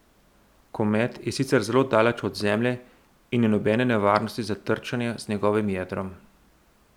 Komet je sicer zelo daleč od Zemlje in ni nobene nevarnosti za trčenje z njegovim jedrom.